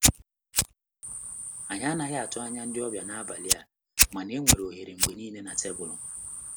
Anyị anaghị atụ anya ndị ọbịa n'abalị a, mana enwere ohere mgbe niile na tebụlu.